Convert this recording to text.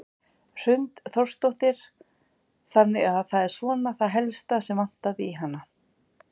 Hrund Þórsdóttir: Þannig að það er svona það helsta sem vantaði í hana?